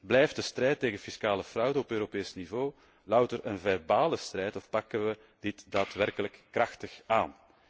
Blijft de strijd tegen fiscale fraude op Europees niveau louter een verbale strijd of pakken wij dit daadwerkelijk krachtig aan?